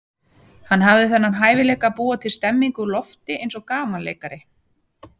Hann hafði þennan hæfileika að búa til stemmningu úr lofti eins og gamanleikari.